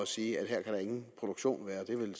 sige at her kan der ingen produktion være det er vel